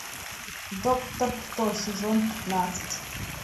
доктор кто сезон пятнадцать